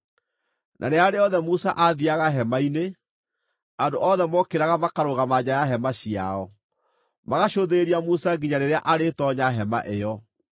Na rĩrĩa rĩothe Musa aathiiaga hema-inĩ, andũ othe mookĩraga makarũgama nja ya hema ciao, magacũthĩrĩria Musa nginya rĩrĩa arĩtoonya hema ĩyo.